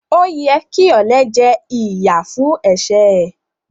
O yẹ ki olè jẹ ìyà fún ẹsẹ ẹ.